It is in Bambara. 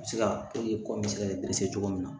Se ka kɔmɛrisɛgɛ cogo min na